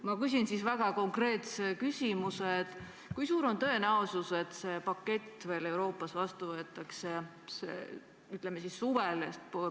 Ma küsin siis väga konkreetse küsimuse: kui suur on tõenäosus, et see pakett Euroopas sel suvel vastu võetakse?